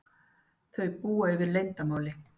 Þau búa yfir leyndarmáli.